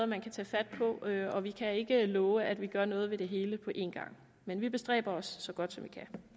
man kan tage fat på og vi kan ikke love at vi gør noget ved det hele på en gang men vi bestræber os det så godt